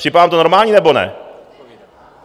Připadá vám to normální, nebo ne?